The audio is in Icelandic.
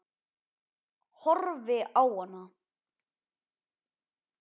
Horfi á hana.